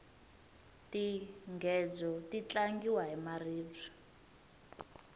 tinghedzo ti tlangiwa hi maribye